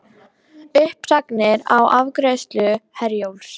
Uppsagnir á afgreiðslu Herjólfs